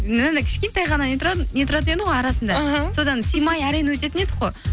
мынандай кішкентай ғана не тұратын еді ғой арасында іхі содан сыймай әрең өтетін едік қой